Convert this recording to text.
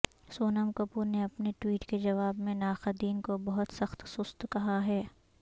سونم کپور نے اپنے ٹویٹ کے جواب میں ناقدین کو بہت سخت سست کہا ہے